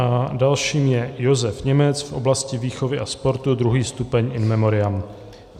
A dalším je Josef Němec v oblasti výchovy a sportu, 2. stupeň, in memoriam.